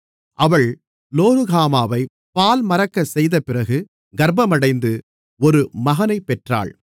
அவள் லோருகாமாவை பால்மறக்கச்செய்தபிறகு கர்ப்பமடைந்து ஒரு மகனைப் பெற்றாள்